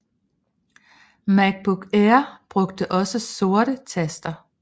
MacBook Air brugte også sorte taster